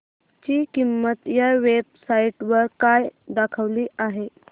ची किंमत या वेब साइट वर काय दाखवली आहे